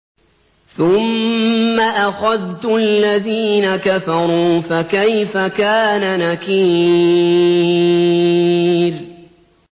ثُمَّ أَخَذْتُ الَّذِينَ كَفَرُوا ۖ فَكَيْفَ كَانَ نَكِيرِ